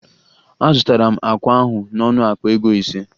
Azụtara m akwa ahụ n'ọnụ akpa ego ise